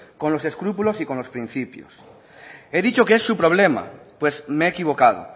con los escrúpulos y con los principios he dicho que es su problema pues me he equivocado